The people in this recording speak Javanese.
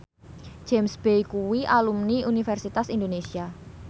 James Bay kuwi alumni Universitas Indonesia